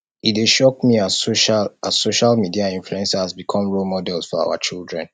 e dey shock me as social as social media influencers become role models for our children